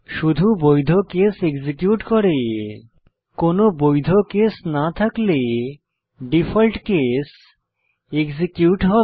শুধু বৈধ case execute করে কোনো বৈধ কেস না থাকলে ডিফল্ট কেস এক্সিকিউট হবে